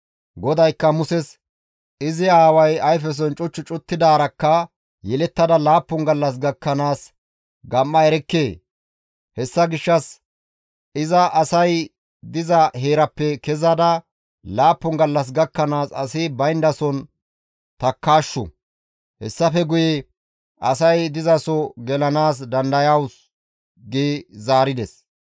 GODAYKKA Muses, «Izi aaway ayfeson cuch cuttidaarakka yeellatada laappun gallas gakkanaas gam7a erekkee? Hessa gishshas iza asay diza heeraappe kezada laappun gallas gakkanaas asi bayndason takkaashshu; hessafe guye asay dizaso gelanaas dandayawus» gi zaarides.